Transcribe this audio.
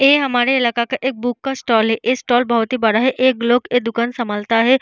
ए हमारा इलाका का एक बुक का स्टाल है। ए स्टाल बोहोत ही बड़ा है। एक लोग ये दूकान संभालता है।